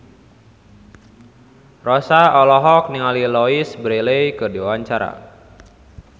Rossa olohok ningali Louise Brealey keur diwawancara